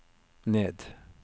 ned